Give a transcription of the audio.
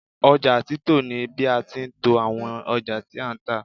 oja tito ni bi a ti n to awon oja ti a n ta